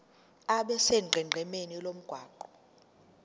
abe sonqenqemeni lomgwaqo